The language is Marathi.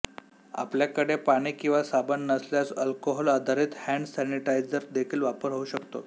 आपल्याकडे पाणी किंवा साबण नसल्यास अल्कोहोलआधारित हँड सॅनिटायझर देखील वापर होऊ शकतो